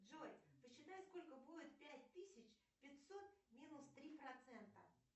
джой посчитай сколько будет пять тысяч пятьсот минус три процента